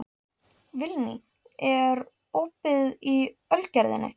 Vilný, er opið í Ölgerðinni?